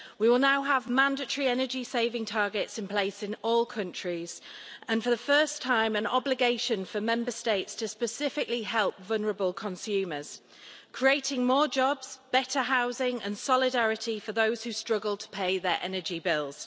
We will now have mandatory energy saving targets in place in all countries, and for the first time an obligation for Member States to specifically help vulnerable consumers, creating more jobs, better housing and solidarity for those who struggle to pay their energy bills.